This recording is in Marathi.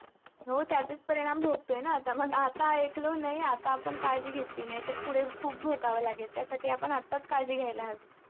हो, त्याचेच परिणाम भोगतोय ना आता. मग आता ऐकलो नाही, आता आपण काळजी घेतली नाही, तर पुढे खूप भोगावं लागेल. त्यासाठी आपण आत्ताच काळजी घ्यायला हवी.